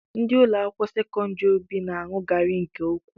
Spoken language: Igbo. Ndị ụlọakwụkwọ sekọndịrị obibi na-aṅụ garị nke ukwuu